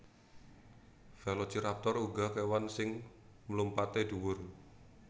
Velociraptor uga kèwan sing mlumpatè dhuwur